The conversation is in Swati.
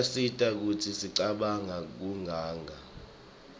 iyasita kutsi singacabanq kiuganga